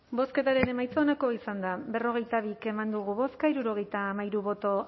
bozketaren emaitza onako izan da hirurogeita hamalau eman dugu bozka hirurogeita hamairu boto